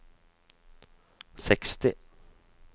seksti